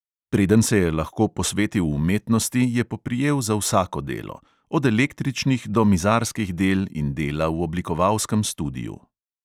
Preden se je lahko posvetil umetnosti, je poprijel za vsako delo: od električnih do mizarskih del in dela v oblikovalskem studiu.